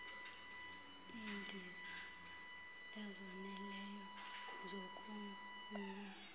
iindiza ezoneleyo zokogquma